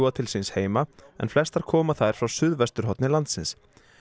til síns heima en flestar koma þær frá suðvesturhorni landsins